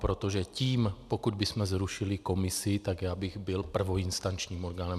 Protože tím, pokud bychom zrušili komisi, tak já bych byl prvoinstančním orgánem.